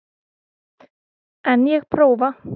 En ég prófa.